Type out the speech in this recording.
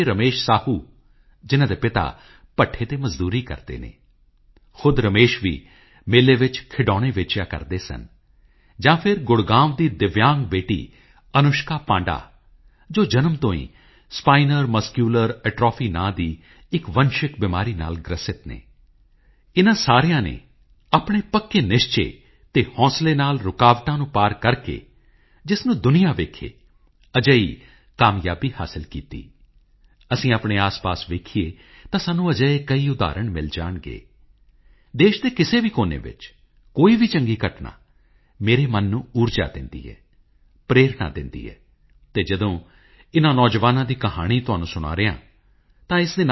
ਸੁਭਾਸ਼ ਬਾਬੂ ਨੂੰ ਹਮੇਸ਼ਾ ਇੱਕ ਵੀਰ ਸੈਨਿਕ ਅਤੇ ਕੁਸ਼ਲ ਸੰਗਠਨਕਰਤਾ ਦੇ ਰੂਪ ਵਿੱਚ ਯਾਦ ਕੀਤਾ ਜਾਵੇਗਾ ਇੱਕ ਅਜਿਹਾ ਵੀਰ ਸੈਨਿਕ ਜਿਸ ਨੇ ਆਜ਼ਾਦੀ ਦੀ ਲੜਾਈ ਵਿੱਚ ਅਹਿਮ ਭੂਮਿਕਾ ਨਿਭਾਈ ਦਿੱਲੀ ਚਲੋ ਤੁਮ ਮੁਝੇ ਖੂਨ ਦੋ ਮੈਂ ਤੁਮਹੇ ਆਜ਼ਾਦੀ ਦੂੰਗਾ ਵਰਗੇ ਜੋਸ਼ੀਲੇ ਨਾਅਰਿਆਂ ਨਾਲ ਨੇਤਾ ਜੀ ਨੇ ਹਰ ਭਾਰਤੀ ਦੇ ਦਿਲ ਵਿੱਚ ਥਾਂ ਬਣਾਈ ਕਈ ਵਰ੍ਹਿਆਂ ਤੱਕ ਇਹ ਮੰਗ ਰਹੀ ਕਿ ਨੇਤਾ ਜੀ ਨਾਲ ਜੁੜੀਆਂ ਫਾਈਲਾਂ ਨੂੰ ਜਨਤਕ ਕੀਤਾ ਜਾਵੇ ਅਤੇ ਮੈਨੂੰ ਇਸ ਗੱਲ ਦੀ ਖੁਸ਼ੀ ਹੈ ਕਿ ਅਸੀਂ ਲੋਕ ਇਹ ਕੰਮ ਕਰ ਸਕੇ ਮੈਨੂੰ ਉਹ ਦਿਨ ਯਾਦ ਹੈ ਜਦੋਂ ਨੇਤਾ ਜੀ ਦਾ ਸਾਰਾ ਪਰਿਵਾਰ ਪ੍ਰਧਾਨ ਮੰਤਰੀ ਨਿਵਾਸ ਆਇਆ ਸੀ ਅਸੀਂ ਮਿਲ ਕੇ ਨੇਤਾ ਜੀ ਨਾਲ ਜੁੜੀਆਂ ਬਹੁਤ ਸਾਰੀਆਂ ਗੱਲਾਂ ਕੀਤੀਆਂ ਅਤੇ ਨੇਤਾ ਜੀ ਸੁਭਾਸ਼ ਚੰਦਰ ਬੋਸ ਨੂੰ ਸ਼ਰਧਾਂਜਲੀ ਭੇਟ ਕੀਤੀ